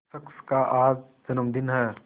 शख्स का आज जन्मदिन है